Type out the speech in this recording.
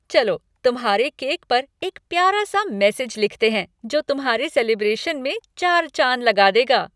चलो तुम्हारे केक पर एक प्यारा सा मैसेज लिखते हैं, जो तुम्हारे सेलिब्रेशन में चार चाँद लगा देगा।